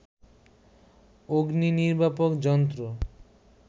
অগ্নিনির্বাপক যন্ত্র